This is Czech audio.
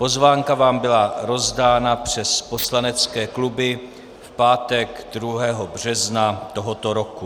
Pozvánka vám byla rozdána přes poslanecké kluby v pátek 2. března tohoto roku.